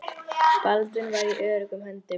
Baldvin var í öruggum höndum.